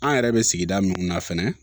An yɛrɛ bɛ sigida minnu na fɛnɛ